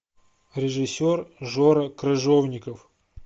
режиссер жора крыжовников